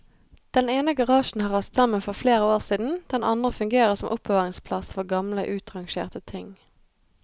Den ene garasjen har rast sammen for flere år siden, den andre fungerer som oppbevaringsplass for gamle utrangerte ting.